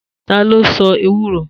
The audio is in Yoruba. Ta ló se ewúro?